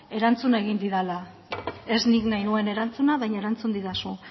erantzun egin didala ez nik nahi nuen erantzuna baina erantzuna didazu